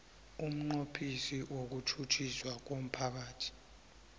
umnqophisi wokutjhutjhiswa komphakathi